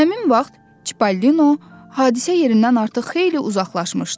Həmin vaxt Çipalino hadisə yerindən artıq xeyli uzaqlaşmışdı.